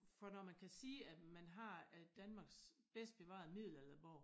For når man kan sige at man har Danmarks bedst bevarede middeladerborg